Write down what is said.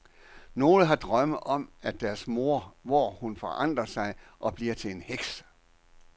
Nogle har drømme om deres mor, hvor hun forandrer sig og bliver til en heks.